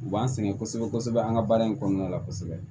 U b'an sɛgɛn kosɛbɛ kosɛbɛ an ka baara in kɔnɔna la kosɛbɛ